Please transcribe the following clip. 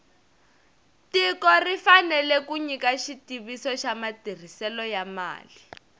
tiko ri fanele ku nyika xitiviso xa matirhiselo ya mali